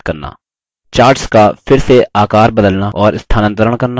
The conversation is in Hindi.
charts का फिर से आकर बदलना और स्थानांतरण करना